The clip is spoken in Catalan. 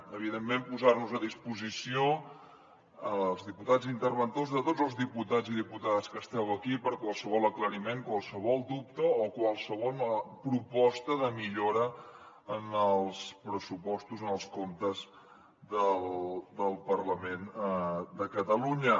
evidentment posar nos a disposició els diputats interventors de tots els diputats i diputades que esteu aquí per qualsevol aclariment qualsevol dubte o qualsevol proposta de millora en els pressupostos en els comptes del parlament de catalunya